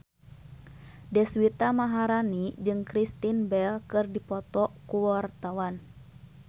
Deswita Maharani jeung Kristen Bell keur dipoto ku wartawan